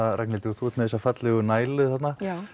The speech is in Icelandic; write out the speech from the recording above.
Ragnhildur þú ert með þessa fallegu nælu þarna